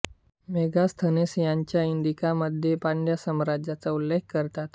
Megasthenes त्याच्या Indica मध्ये पांड्या साम्राज्याचा उल्लेख करतात